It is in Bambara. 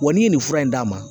Wa n'i ye nin fura in d'a ma